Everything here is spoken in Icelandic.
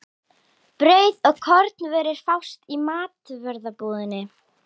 Brauð og kornvörur fást í matvörubúðinni.